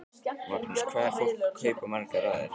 Magnús: Hvað er fólk að kaupa margar raðir?